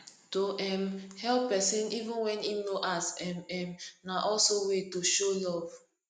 to um help persin even when im no ask um um na also way to show love